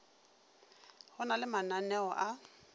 go na le mananeo a